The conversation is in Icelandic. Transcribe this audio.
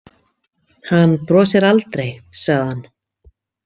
Hann brosir aldrei, sagði hann.